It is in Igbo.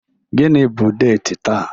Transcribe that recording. Gịnị bụ deti taa?